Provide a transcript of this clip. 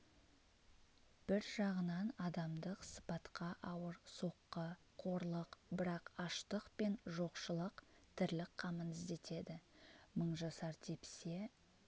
бір жағынан адамдық сыпатқа ауыр соққы қорлық бірақ аштық пен жоқшылық тірлік қамын іздетеді мыңжасар тепсе